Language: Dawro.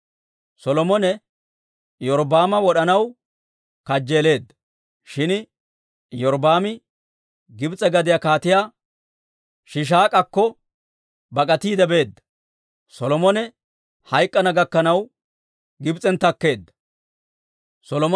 Solomone Iyorbbaama wod'anaw kajjeeleedda; shin Iyorbbaami Gibs'e gadiyaa Kaatiyaa Shiishaak'akko bak'atiide beedda; Solomone hayk'k'ana gakkanaw Gibs'en takkeedda.